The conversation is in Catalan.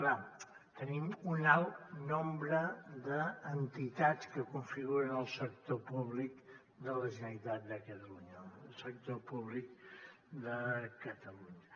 clar tenim un alt nombre d’entitats que configuren el sector públic de la generalitat de catalunya el sector públic de catalunya